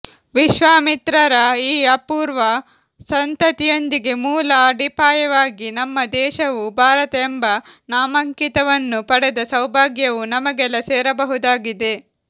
ವಿಶ್ವಾಮಿತ್ರರ ಈ ಅಪೂರ್ವ ಸಂತತಿಯೊಂದಿಗೆ ಮೂಲ ಅಡಿಪಾಯವಾಗಿ ನಮ್ಮ ದೇಶವು ಭಾರತ ಎಂಬ ನಾಮಾಂಕಿತವನ್ನು ಪಡೆದ ಸೌಭಾಗ್ಯವು ನಮಗೆಲ್ಲಾ ಸೇರಬಹುದಾಗಿದೆ